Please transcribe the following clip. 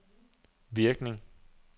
virkning